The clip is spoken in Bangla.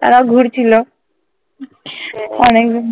তারাও ঘুরছিলো অনেকজন